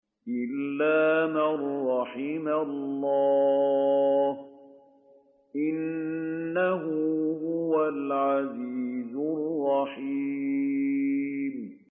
إِلَّا مَن رَّحِمَ اللَّهُ ۚ إِنَّهُ هُوَ الْعَزِيزُ الرَّحِيمُ